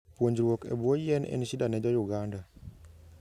Puonjruok e buo yien en shida ne jo Uganda